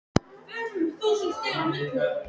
Lillý Valgerður Pétursdóttir: Þetta er óvenjustórt?